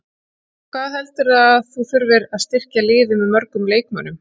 Hvað heldurðu að þú þurfir að styrkja liðið með mörgum leikmönnum?